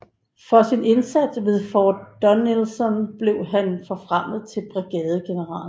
For sin indsats ved Fort Donelson blev han forfremmet til brigadegeneral